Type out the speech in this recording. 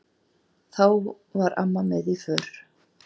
Þá var amma með í för.